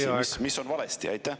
Milles siis asi, mis on valesti?